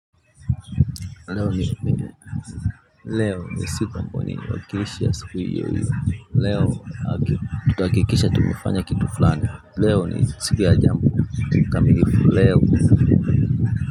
Leo ni siku ambayo niliwakilisha siku iyo iyo. Leo tutahakikisha tumefanya kitu fulani. Leo ni siku ya jambo mkamilifu. Leo.